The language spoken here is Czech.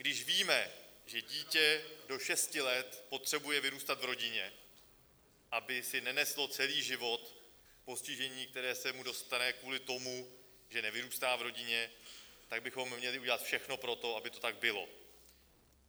Když víme, že dítě do šesti let potřebuje vyrůstat v rodině, aby si neneslo celý život postižení, které se mu dostane kvůli tomu, že nevyrůstá v rodině, tak bychom měli udělat všechno pro to, aby to tak bylo.